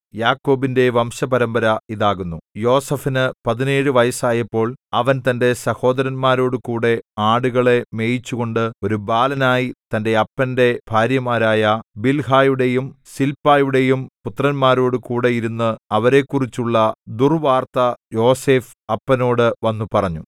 യാക്കോബിന്റെ വംശപരമ്പര ഇതാകുന്നു യോസേഫിനു പതിനേഴു വയസ്സായപ്പോൾ അവൻ തന്റെ സഹോദരന്മാരോടുകൂടെ ആടുകളെ മേയിച്ചുകൊണ്ട് ഒരു ബാലനായി തന്റെ അപ്പന്റെ ഭാര്യമാരായ ബിൽഹായുടെയും സില്പായുടെയും പുത്രന്മാരോടുകൂടെ ഇരുന്ന് അവരെക്കുറിച്ചുള്ള ദുർവാർത്ത യോസേഫ് അപ്പനോട് വന്നുപറഞ്ഞു